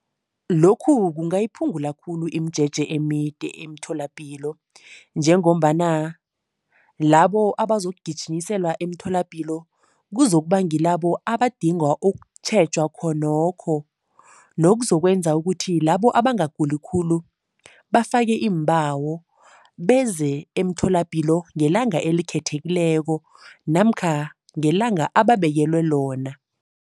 Lokhu kungayiphungula khulu imijeje emide emtholapilo njengombana labo abazokugijinyiselwa emtholapilo, kuzokuba ngilabo abadinga ukutjhejwa khonokho nokuzokwenza ukuthi labo abangaguli khulu bafake iimbawo beze emtholapilo ngelanga elikhethekileko namkha ngelanga ababekelwe lona.